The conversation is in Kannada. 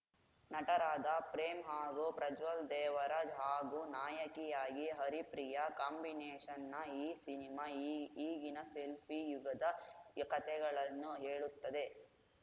ನಟರಾದ ಪ್ರೇಮ್‌ ಹಾಗೂ ಪ್ರಜ್ವಲ್‌ ದೇವರಾಜ್‌ ಹಾಗೂ ನಾಯಕಿಯಾಗಿ ಹರಿಪ್ರಿಯಾ ಕಾಂಬಿನೇಷನ್‌ನ ಈ ಸಿನಿಮಾ ಈಗಿನ ಸೆಲ್ಫಿ ಯುಗದ ಕತೆಗಳನ್ನು ಹೇಳುತ್ತದೆ